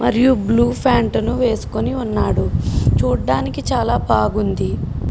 మరియు blue pant ని వేసుకుని ఉన్నాడు. చుడానికి చాలా బాగుంది.